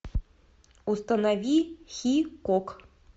установи хикок